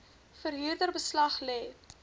verhuurder beslag lê